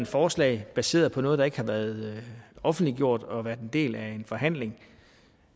forslag baseret på noget der ikke har været offentliggjort og været en del af en forhandling